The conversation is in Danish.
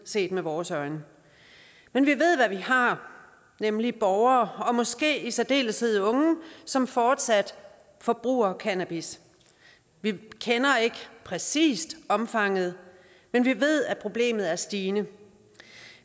set med vores øjne men vi ved hvad vi har nemlig borgere og måske i særdeleshed unge som fortsat forbruger cannabis vi kender ikke præcis omfanget men vi ved at problemet er stigende